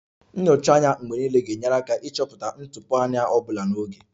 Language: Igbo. Nyocha anya mgbe niile ga-enyere aka ịchọpụta ntụpọ anya ọ bụla n'oge